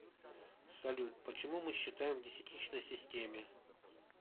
салют почему мы считаем в десятичной системе